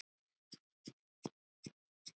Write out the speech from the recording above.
Enda kom það á daginn.